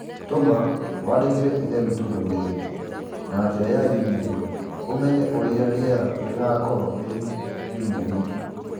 Tũma wandĩkĩre ithe witũ ndũmĩrĩri na njĩra ya i-mīrū ũmenye ũrĩa rĩera rĩgaakorũo rĩrĩ kiumia gĩkĩ